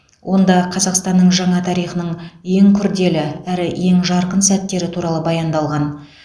онда қазақстанның жаңа тарихының ең күрделі әрі ең жарқын сәттері туралы баяндалған